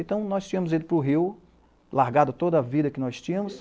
Então, nós tínhamos ido para o Rio, largado toda a vida que nós tínhamos.